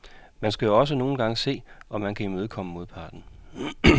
Man skal jo også nogle gange se, om man kan imødekomme modparten.